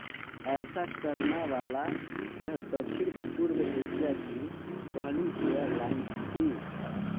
ऐसा करना वाला यह दक्षिण पूर्व एशिया की पहली एयरलाइन्स थी